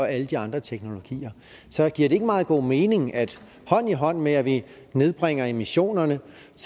alle de andre teknologier så giver det ikke meget god mening at hånd i hånd med at vi nedbringer emissionerne